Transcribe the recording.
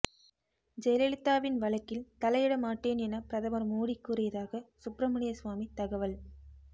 ஜெயலலிதாவின் வழக்கில் தலையிட மாட்டேன் என பிரதமர் மோடி கூறியதாக சுப்பிரமணிய சுவாமி தகவல்